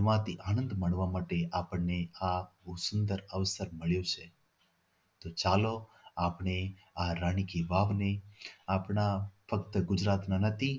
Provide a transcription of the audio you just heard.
એમાંથી આનંદ મળવા માટે આજે આ સુંદર અવસર મળ્યું છે તો ચાલો આપણે આ રાણી કી વાવ ને આપણા ફક્ત ગુજરાતમાં નથી